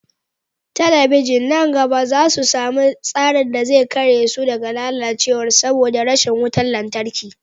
Talabijin na gaba za su sami tsarin da zai kare su daga lalacewa saboda rashin wutar lantarki